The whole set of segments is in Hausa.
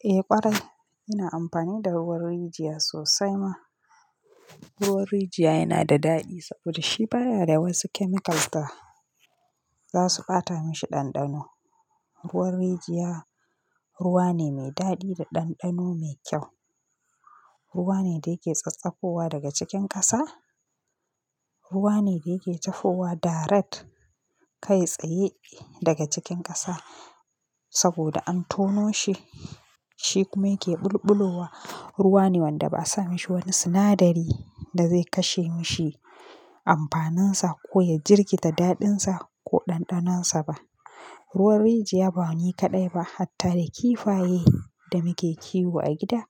Eh ƙwarai, ina amfani da ruwan rijiya sosai ma. Ruwan rijiya yana da daɗi saboda shi baya da wasu chemicals da za su ɓata mashi ɗanɗano. Ruwan rijiya ruwa ne mai daɗi da ɗanɗano mai kyau. Ruwa ne da yake tsattsagowa daga cikin ƙasa. Ruwa ne da yake tafowa daret kai tsaye daga cikin ƙasa saboda an tono shi, shi kuma yake ɓulɓulowa. Ruwa ne wanda ba a sa maishi wani sinadari da zai kashe mishi amfanin sa ko ya jirkita daɗin sa ko ɗanɗanon sa ba. Ruwan rijiya ba ni kaɗai ba, hatta da kifaye da muke kiwo a gida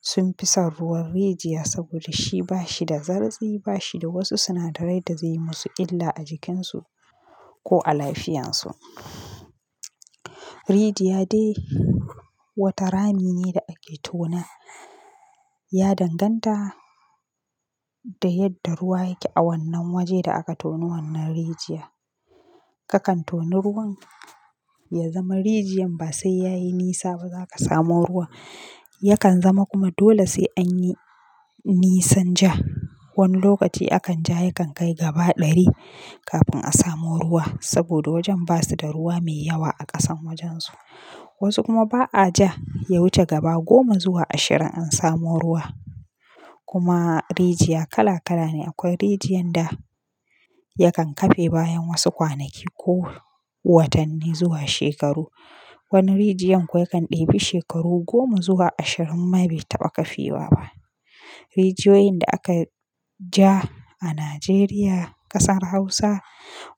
sun fi son ruwan rijiya saboda shi ba shi da zartsu, ba shi da wasu sinadarai da zai yi musu illa a jikinsu ko a lafiyarsu. Rijiya dai wata rami ne da ake tona, ya danganta da yadda ruwa yake a wannan waje da aka toni wannan rijiya. Akan toni ruwan ya zama rijiyar ba sai ya yi nisa ba za ka samu ruwa. Yakan zama kuma dole sai an yi nisan ja. Wani lokaci akan ja ya kan kai gaba ɗari kafin a samu ruwa saboda wajen ba su da ruwa mai yawa a ƙasan wajensu. Wasu kuma ba a ja ya wuce gaba goma zuwa ashirin an samu ruwa. Kuma rijiya kala kala ne. Akwai rijiyar da yakan kafe bayan wasu kwanaki ko watanni zuwa shekaru. Wani rijiyar kuwa yakan ɗebi shekaru goma zuwa ashirin ma bai taɓa kafewa ba. Rijiyoyin da aka ja a Najeriya ƙasar Hausa,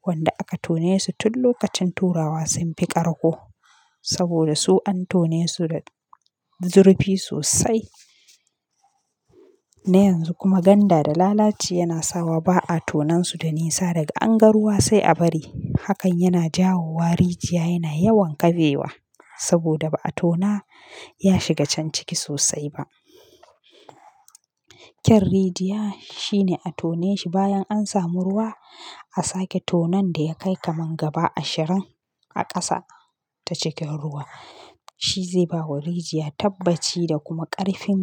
wanda aka tone su tun lokacin turawa sun fi ƙarƙo saboda su an tone su da zurfi sosai. Na yanzu kuma ganda da lalaci yana sawa ba a tonan su da nisa daga an ga ruwa sai a bari. Hakan yana jawo wa rijiya yana yawan kafewa saboda ba a tona ya shiga can ciki sosai ba. Kyan rijiya shi ne a tone shi bayan an samu ruwa, a sake tonon da ya kai kamar gaba ashirin a ƙasa ta cikin ruwa. Shi zai bawa rijiya tabbaci da kuma ƙarfin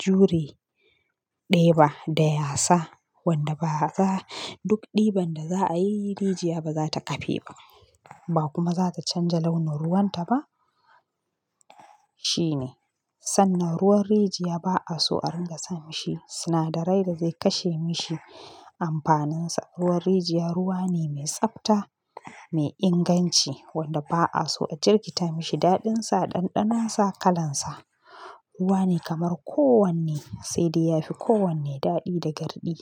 jure ɗeba da yasa wanda ba za-- duk ɗiban da za a yi rijiya ba za ta kafe ba, ba kuma za ta canja launin ruwan ta ba. Shi ne. Sannan ruwan rijiya ba a so a ringa sa mashi sinadarai da zai kashe mashi amfanin sa. Ruwan rijiya ruwa ne mai tsabta, mai inganci wanda ba a so a jirkita mashi daɗin sa, ɗanɗanon sa, kalan sa. Ruwa ne kamar kowanne sai dai yafi kowanne daɗi da garɗi.